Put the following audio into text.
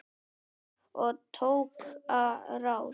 Og tók á rás.